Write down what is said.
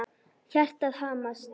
Hjartað hamast.